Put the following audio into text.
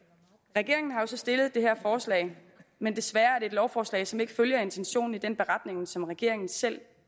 regeringen har jo så stillet det her forslag men desværre er det et lovforslag som ikke følger intentionen i den beretning som regeringen selv